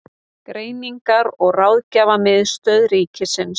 Greiningar- og ráðgjafarstöð ríkisins.